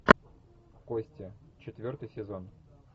кости четвертый сезон